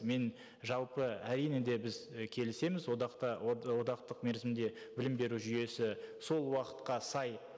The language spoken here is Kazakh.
мен жалпы әрине де біз і келісеміз одақта одақтық мерзімде білім беру жүйесі сол уақытқа сай